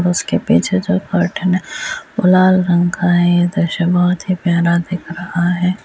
और उसके पीछे जो कर्टन है वो लाल रंग का है ये दृश्य बहुत ही प्यारा दिख रहा है।